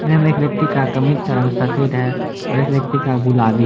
ये में एक व्यक्ति का कमीज का रंग सफेद है और एक व्यक्ति का गुलाबी --